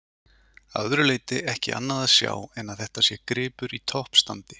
Að öðru leyti ekki annað að sjá en að þetta sé gripur í toppstandi.